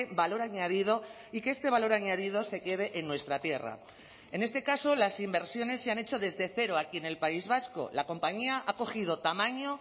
valor añadido y que este valor añadido se quede en nuestra tierra en este caso las inversiones se han hecho desde cero aquí en el país vasco la compañía ha cogido tamaño